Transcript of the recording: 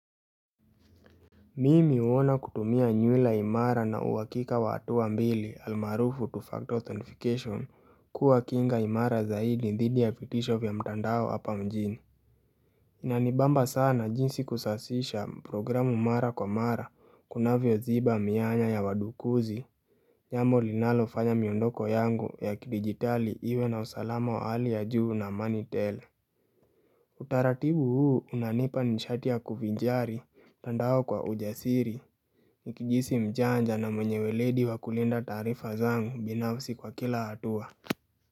Mimi huona kutumia nyula imara na uhakika wa hatua mbili almarufu two factor authentication kuwakinga imara zaidi dhidi ya vitisho vya mtandao hapa mjini Inanibamba sana jinsi kusasisha programu mara kwa mara kunavyo ziba mianya yawadukuzi jambo linalo fanya miondoko yangu ya kidigitali iwe na usalama wa hali ya juu na money teller Utaratibu huu unanipa nishatia kufijari mtandao kwa ujasiri Nikijihisi mjanja na mwenyewe uweledi wakulinda taarifa zangu binafsi kwa kila hatua.